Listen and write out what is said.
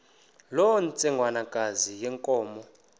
loo ntsengwanekazi yenkomo